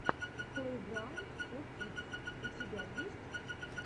плейграунд фо кидс у тебя есть